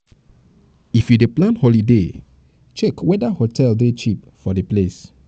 if you dey plan holiday check weda hotel dey cheap for di place